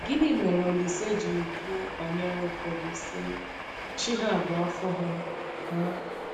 Gịnị mere Olísè ji kwuo banyere ụfọdụ, sị: “Chi ha bụ afọ ha”? ha”?